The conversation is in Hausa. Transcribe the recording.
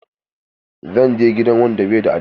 Zan je gidan wanda bai da addini.